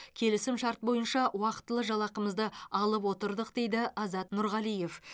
келісім шарт бойынша уақытылы жалақымызды алып отырдық дейді азат нұрғалиев